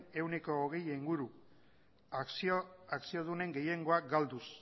ehuneko hogeia inguru akziodunen gehiengoa galduz